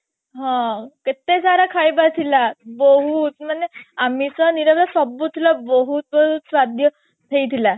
ହଁ କେତେ ସାରା ଖାଇବା ଥିଲା ବହୁତ ମାନେ ଆମିଷ ନିରାମିଷ ସବୁ ଥିଲା ବହୁତ ବହୁତ ସ୍ଵାଦ ହେଇଥିଲା